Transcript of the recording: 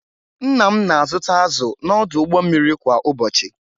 Nna m na-azụta azụ̀ n’ọdụ ụgbọ mmiri kwa ụbọchị